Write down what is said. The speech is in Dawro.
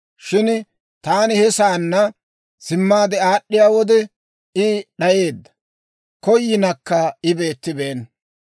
Shin taani he saanna simmaade aad'd'iyaa wode I d'ayeedda; Koyinakka I beettibeenna.